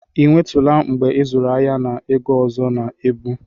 Ị nwetụla mgbe ịzụrụ ahịa na ego ọzọ na ebu?